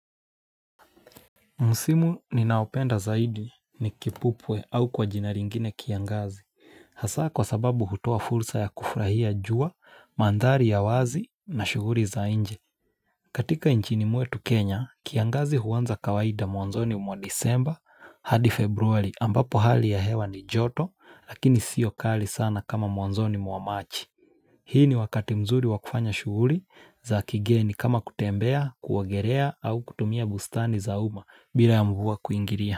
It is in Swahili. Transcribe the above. Msimu ninaopenda zaidi ni kipupwe au kwa jina lingine kiangazi, hasa kwa sababu hutoa fursa ya kufurahia jua, mandhari ya wazi na shughuli za nje. Katika nchini mwetu Kenya, kiangazi huanza kawaida mwanzoni mwa disemba hadi februari ambapo hali ya hewa ni joto lakini sio kali sana kama mwanzoni mwa machi. Hii ni wakati mzuri wa kufanya shughuli za kigeni kama kutembea, kuogelea au kutumia bustani za umma bila ya mvua kuingilia.